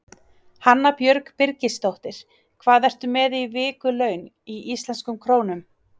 Hanna Björg Birgisdóttir Hvað ertu með í vikulaun í íslenskum krónum?